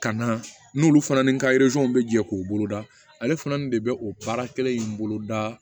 Ka na n'olu fana ni nka bɛ jɛ k'u boloda ale fana nin de bɛ o baara kelen in boloda